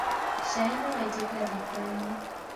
Cai nĩwaitĩka rikoinĩ.